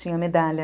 Tinha medalha.